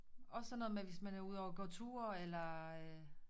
Også sådan noget med hvis man er ude at gå tur eller øh